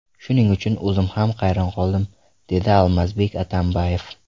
Shuning uchun o‘zim ham hayron qoldim”, dedi Almazbek Atambayev.